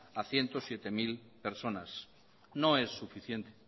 a ciento siete mil personas no es suficiente